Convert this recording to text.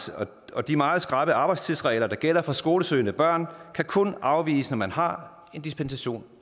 og de meget skrappe arbejdstidsregler der gælder for skolesøgende børn kan kun afviges når man har en dispensation